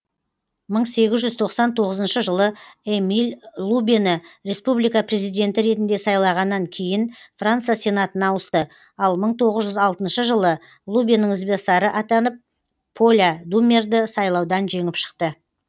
мың сегіз жүз тоқсан тоғызыншы жылы эмиль лубені республика президенті ретінде сайлағаннан кейін франция сенатына ауысты ал мың тоғыз жүз алтыншы жылы лубенің ізбасары атанып поля думерді сайлаудан жеңіп шықты